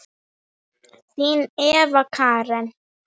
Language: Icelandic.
Þín Eva Karen.